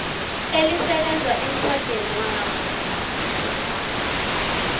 elisebenza emtjhadwenabo nofana